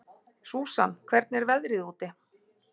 Susan, hvernig er veðrið úti?